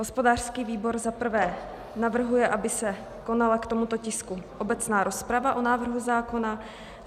Hospodářský výbor za prvé navrhuje, aby se konala k tomuto tisku obecná rozprava o návrhu zákona.